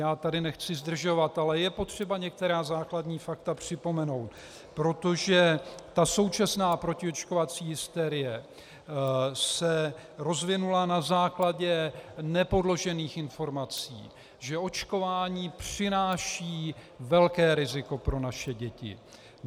Já tady nechci zdržovat, ale je potřeba některá základní fakta připomenout, protože ta současná protiočkovací hysterie se rozvinula na základě nepodložených informací, že očkování přináší velké riziko pro naše děti.